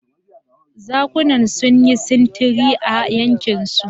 Zakunan sun yi sintiri a yankinsu.